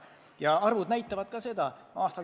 Ja ka arvud näitavad seda.